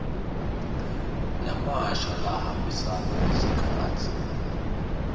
lamasha lahambisana nesikhatsi